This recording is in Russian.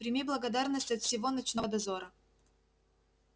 прими благодарность от всего ночного дозора